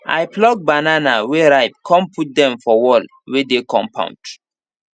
i pluck banana wey ripe con put dem for wall wey dey compound